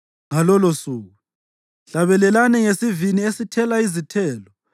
Ngalolosuku: “Hlabelani ngesivini esithela izithelo.